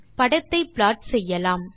படத்தை ப்ளாட் செய்யலாம்